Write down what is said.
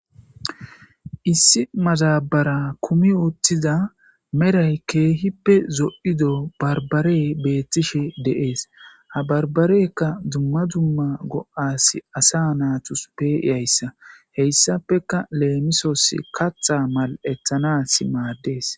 Issi mazabara kumi ooththiza meray keehippe zo7ido barbare beettishe de7ees ha barbarekka dumma dumma go7as asa naatus peiyayssa heyssapeka leemisoos katha mal7ethanas maaddees